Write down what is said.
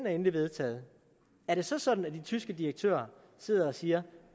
er endeligt vedtaget er det så sådan at de tyske direktører sidder og siger